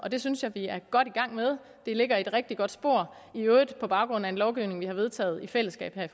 det synes jeg vi er godt i gang med det ligger i et rigtig godt spor i øvrigt på baggrund af en lovgivning vi har vedtaget i fællesskab her